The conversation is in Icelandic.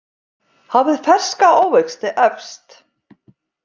Hafið ferska ávexti efst.